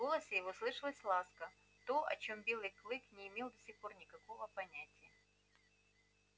в голосе его слышалась ласка то о чём белый клык не имел до сих пор никакого понятия